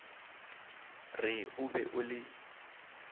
re o be o le